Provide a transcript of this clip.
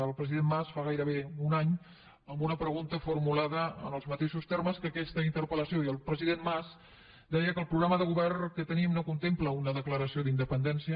el president mas fa gairebé un any en una pregunta formulada en els mateixos termes que aquesta interpel·lació deia que el programa de govern que tenim no contempla una declaració d’independència